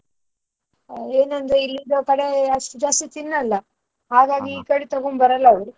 ಆ ಏನಂದ್ರೆ ಇಲ್ಲಿ ಕಡೆ ಅಷ್ಟು ಜಾಸ್ತಿ ತಿನ್ನಲ್ಲ. ಕಡೆ ತಗೊಂಡು ಬರಲ್ಲ ಅವ್ರು.